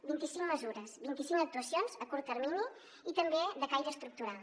vint i cinc mesures vint i cinc actuacions a curt termini i també de caire estructural